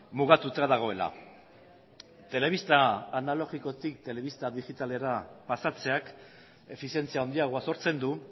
mugatuta dagoela telebista analogikotik telebista digitalera pasatzeak efizientzia handiagoa sortzen du